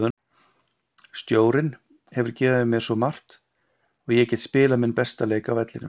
Stjórinn hefur gefið mér svo margt og ég get spilað minn besta leik á vellinum.